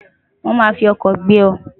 won ma fi oko gbe o